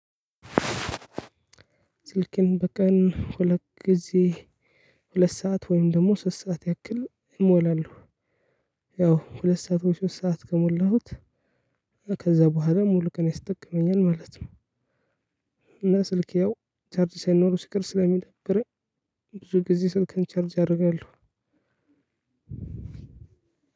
ስልኬን በቀን ሁለት ጊዜ ሁለት ሰዓት ወይም ደግሞ ሶስት ሰዓት ያክል እሞላለሁ። ያው ሁለት ሰዓት ወይ ሶስት ሰዓት ከሞላሁት ከዛ በኋላ ሙሉ ቀን ይጠቅመኛል ማለት ነው። እና ስልኬ ያው ቻርጅ ሳይኖሩ ሲቀር ስለሚደብረኝ ብዙ ጊዜ ስልኬን ቻርጅ አደርጋለሁ።